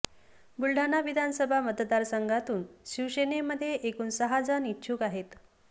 बुलडाणा विधानसभा मतदारसंघातून शिवसेनेमध्ये एकूण सहा जण इच्छूक आहेत